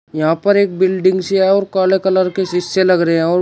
यहां पर एक बिल्डिंग सी है और काले कलर के सीसे लग रहे हैं और--